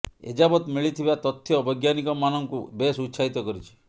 ଏଯାବତ ମିଳିଥିବା ତଥ୍ୟ ବୈଜ୍ଞାନିକ ମାନଙ୍କୁ ବେଶ ଉତ୍ସାହିତ କରିଛି